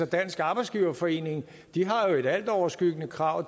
dansk arbejdsgiverforening har jo et altoverskyggende krav